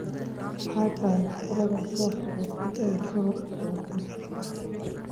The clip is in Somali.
Maxay tahay xafladda soo socota ee soo socota